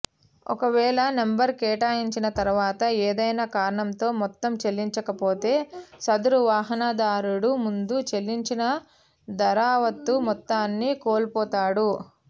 ఒకవేళ నంబరు కేటాయించిన తర్వాత ఏదైనా కారణంతో మొత్తం చెల్లించకపోతే సదరు వాహనదారుడు ముందు చెల్లించిన దరావత్తు మొత్తాన్ని కోల్పోతాడు